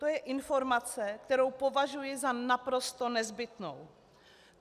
To je informace, kterou považuji za naprosto nezbytnou.